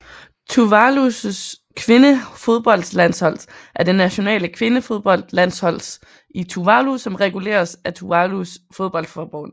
Tuvalus kvindefodboldlandshold er det nationale kvindefodboldlandshold i Tuvalu som reguleres af Tuvalus fodboldforbund